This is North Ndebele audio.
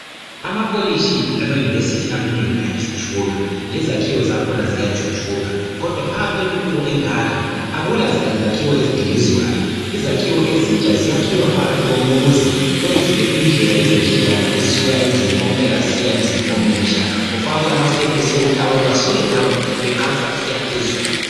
Amakolitshi lamayunivesithi amanengi ayathuthuka lezakhiwo zakhona ziyathuthuka kodwa phakathi kwentuthuko engaka akulazakhiwo ezidilizwayo. Izakhiwo ezintsha ziyakhiwa phakathi komuzi kwenziwe indlela lezindledlana ezisuka emzini omdala zisiya emzini omutsha kufakwe amastaircase okuthi abantu basuke ngapha beqansa besiya phezulu.